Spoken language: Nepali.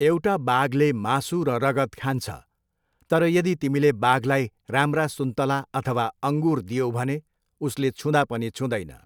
एउटा बाघले मासु र रगत खान्छ तर यदि तिमीले बाघलाई राम्रा सुन्तला अथवा अङ्गुर दियौ भने उसले छुँदा पनि छुँदैन।